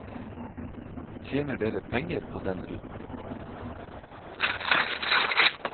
Tjener dere penger på den ruten?